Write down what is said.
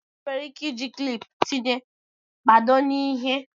enwere ike iji kịlịpù tinye mkpado na ihe